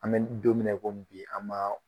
An bɛ don min na i ko bi an b'a